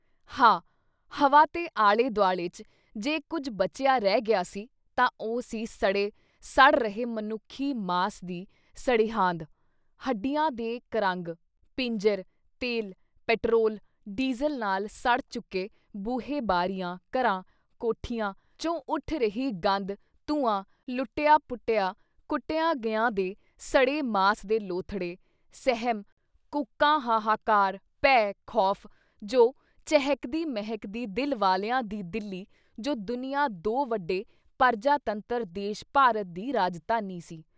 ਹਾ! ਹਵਾ ਤੇ ਆਲ਼ੇ-ਦੁਆਲੇ ‘ਚ ਜੇ ਕੁਝ ਬਚਿਆ ਰਹਿ ਗਿਆ ਸੀ ਤਾਂ ਉਹ ਸੀ ਸੜੇ, ਸੜ ਰਹਿ ਮਨੁੱਖੀ ਮਾਸ ਦੀ ਸੜਿਹਾਂਦ, ਹੱਡੀਆਂ ਦੇ ਕਰੰਗ, ਪਿੰਜਰ, ਤੇਲ, ਪੈਟਰੋਲ, ਡੀਜ਼ਲ ਨਾਲ ਸੜ ਚੁੱਕੇ ਬੂਹੇ ਬਾਰੀਆਂ, ਘਰਾਂ, ਕੋਠੀਆਂ ਚੋਂ ਉੱਠ ਰਹੀ ਗੰਧ ਧੂੰਆਂ ਲੁੱਟਿਆ-ਪੁੱਟਿਆ, ਕੁੱਟਿਆ ਗਿਆਂ ਦੇ ਸੜੇ ਮਾਸ ਦੇ ਲੋਥੜੇ, ਸਹਿਮ, ਕੂਕਾਂ ਹਾਹਾਕਾਰ, ਭੈਅ ਖ਼ੌਫ਼ ਜੋ ਚਹਿਕਦੀ-ਮਹਿਕਦੀ ਦਿਲ ਵਾਲਿਆਂ ਦੀ ਦਿੱਲੀ ਜੋ ਦੁਨੀਆਂ ਦੋ ਵੱਡੇ ਪਰਜਾ ਤੰਤਰ ਦੇਸ਼ ਭਾਰਤ ਦੀ ਰਾਜਧਾਨੀ ਸੀ।